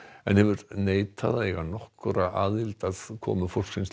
en hefur neitað að eiga nokkra aðild að komu fólksins